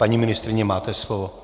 Paní ministryně, máte slovo.